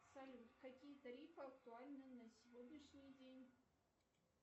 салют какие тарифы актуальны на сегодняшний день